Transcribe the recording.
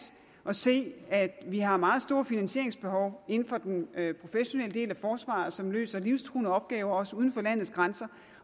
at se at vi har meget store finansieringsbehov inden for den professionelle del af forsvaret som løser livstruende opgaver også uden for landets grænser